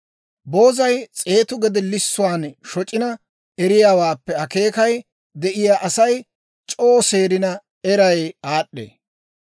Boozay s'eetu gede lissuwaan shoc'ina eriyaawaappe akeekay de'iyaa Asay c'oo seerina eray aad'd'ee.